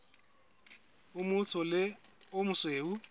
o motsho le o mosweu